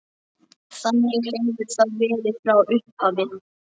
Þannig hefur það verið frá upphafi.